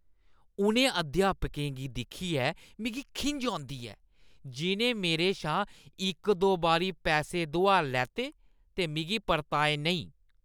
उ'नें अध्यापकें गी दिक्खियै मिगी खिंझ औंदी ऐ, जि'नें मेरे शा इक-दो बारी पैसे दोहार लैते ते मिगी परताए नेईं।